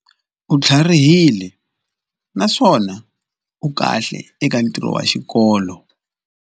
U tlharihile naswona u kahle eka ntirho wa xikolo.